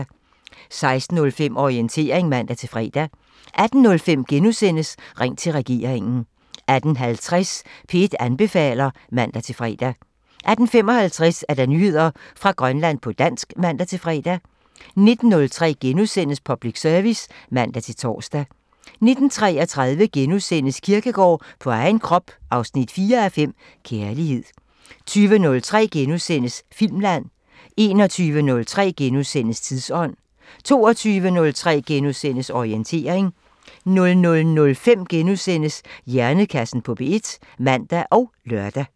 16:05: Orientering (man-fre) 18:05: Ring til regeringen *(man) 18:50: P1 anbefaler (man-fre) 18:55: Nyheder fra Grønland på dansk (man-fre) 19:03: Public Service *(man-tor) 19:33: Kierkegaard på egen krop 4:5 – Kærlighed * 20:03: Filmland *(man) 21:03: Tidsånd *(man) 22:03: Orientering *(man-fre) 00:05: Hjernekassen på P1 *(man og lør)